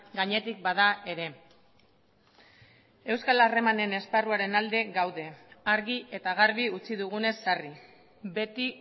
gainetik bada ere euskal harremanen esparruaren alde gaude argi eta garbi utzi dugunez sarri beti